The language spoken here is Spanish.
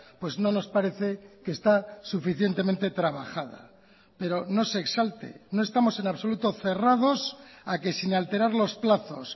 pues no nos parece que está suficientemente trabajada pero no se exalte no estamos en absoluto cerrados a que sin alterar los plazos